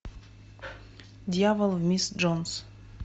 дьявол в мисс джонс